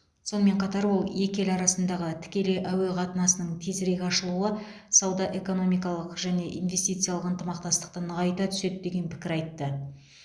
сонымен қатар ол екі ел арасындағы тікелей әуе қатынасының тезірек ашылуы сауда экономикалық және инвестициялық ынтымақтастықты нығайта түседі деген пікір айтты